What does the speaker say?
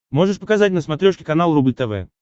можешь показать на смотрешке канал рубль тв